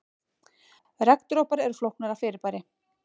Regndropar eru flóknara fyrirbæri.